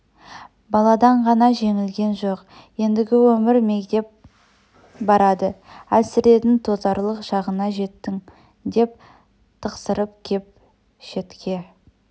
баладан ғана жеңілген жоқ ендігі өмір мегдеп барады әлсіредің тозарлық шағыңа жеттің деп тықсырып кеп шетке